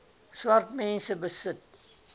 swart mense besit